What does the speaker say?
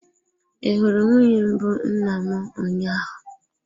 Ị hụrụ nwunye mbụ nna m ụnyaahụ?